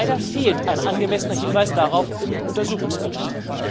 Leider fehlt ein angemessener Hinweis darauf im Untersuchungsbericht.